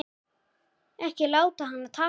Ekki láta hana taka okkur.